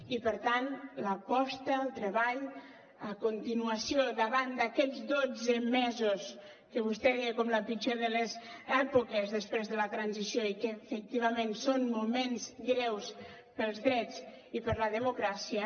i per tant l’aposta el treball la continuació davant d’aquests dotze mesos que vostè veia com la pitjor de les èpoques després de la transició i que efectivament són moments greus per als drets i per a la democràcia